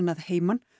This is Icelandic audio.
að heiman